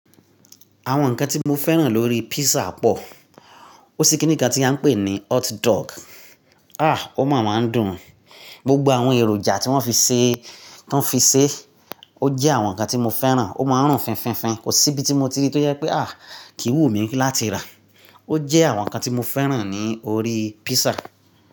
Àwọn ǹkan tí mo fẹ́ràn lórí písà pọ̀. Ó sí kíní kan tí a ń pè ní hotdog. Àh! Ó máa ma ń dùn-ún. Gbogbo àwọn èròjà tí wọ́n fi ṣe, ti woń fi ṣe, ó jẹ́ àwọn ǹkan tí mo fẹ́ràn. Ó máa ń rùn fínfínfín. Kò sí ibi tí mo ti rí tó jẹ pé àh! Kì í wú mi láti rà. Ó jẹ́ àwọn ǹkan tí mo fẹ́ràn ní orí písà.